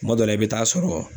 Kuma dɔ la i bɛ taa sɔrɔ